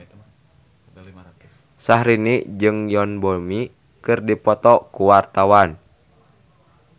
Syahrini jeung Yoon Bomi keur dipoto ku wartawan